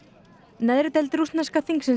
neðri deild rússneska þingsins